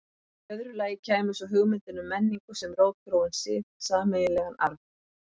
Í öðru lagi kæmi svo hugmyndin um menningu sem rótgróinn sið, sameiginlegan arf.